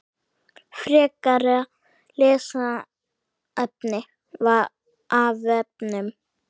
Frekara lesefni af vefnum